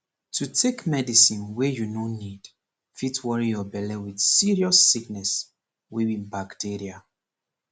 to take medicine wey you no need fit worry your belle with serious sickness wey be bacteria